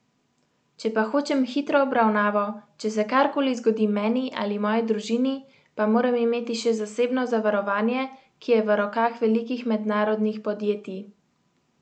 Če pa hočem hitro obravnavo, če se kar koli zgodi meni ali moji družini, pa moram imeti še zasebno zavarovanje, ki je v rokah velikih mednarodnih podjetij.